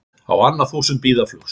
Á annað þúsund bíður flugs